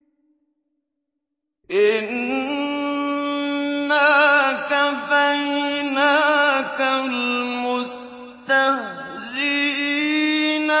إِنَّا كَفَيْنَاكَ الْمُسْتَهْزِئِينَ